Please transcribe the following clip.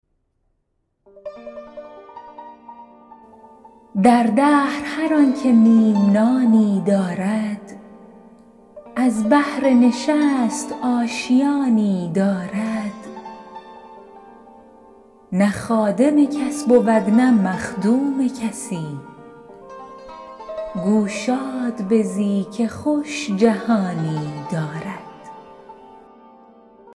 در دهر هر آن که نیم نانی دارد از بهر نشست آشیانی دارد نه خادم کس بود نه مخدوم کسی گو شاد بزی که خوش جهانی دارد